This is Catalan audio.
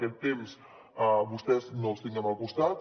que a vostès no els tinguem al costat